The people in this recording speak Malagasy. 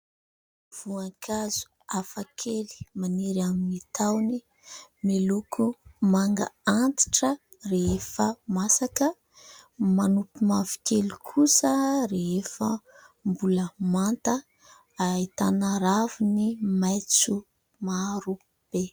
Voankazo hafa kely maniry amin'ny tahony miloko manga antitra rehefa masaka. Manopy mavokely kosa rehefa mbola manta, ahitana raviny maitso maro be.